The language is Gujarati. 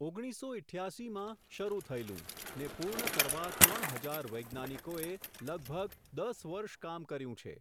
ઓગણીસો ઇઠ્યાસી માં શરુ થયેલું, ને પૂર્ણ કરવા ત્રણ હજાર વૈજ્ઞાનિકોએ, લગભગ દસ વર્ષ કામ કર્યું છે.